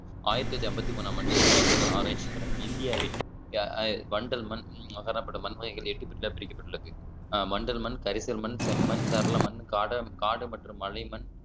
ஆயிரத்தி தொள்ளாயிரத்தி ஐம்பத்தி மூணாம் ஆண்டு இந்திய வேளான் ஆராய்ச்சி கழகம் இந்தியாவில் வண்டல் மண் காணப்படும் மண் முறைகள் எட்டு பிரிக்கப்பட்டுள்ளது அஹ் வண்டல் மண் கரிசல் மண் செம்மண் சரள மண் காடம் காடு மற்றும் மலை மண்